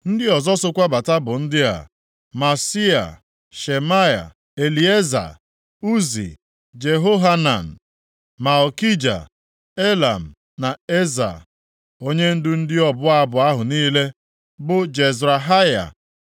Ndị ọzọ sokwa bata bụ ndị a: Maaseia, Shemaya, Elieza, Uzi, Jehohanan, Malkija, Elam na Eza. Onyendu ndị ọbụ abụ ahụ niile bụ Jezrahaya.